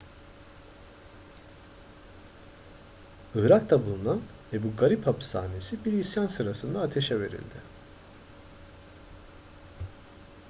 irak'ta bulunan ebu garib hapishanesi bir isyan sırasında ateşe verildi